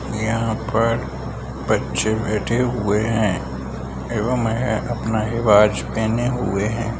यहाँ पर बच्चे बैठे हुए हैं एवं ये अपना हिबाज पेहने हुए हैं ।